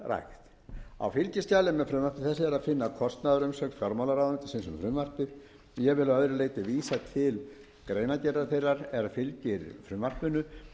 skeldýrarækt á fylgiskjali með frumvarpi þessu er að finna kostnaðarumsögn fjármálaráðuneytisins um frumvarpið ég vil að öðru leyti vísa til greinargerðar þeirrar er fylgir frumvarpinu